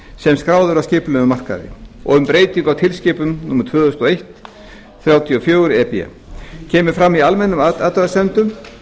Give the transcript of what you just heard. skráð á skipulegan markað og um breytingu á tilskipun númer tvö þúsund og eitt þrjátíu og fjögur e b kemur fram í almennum athugasemdum